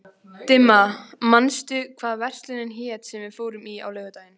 Dimma, manstu hvað verslunin hét sem við fórum í á laugardaginn?